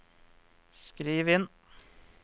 skriv inn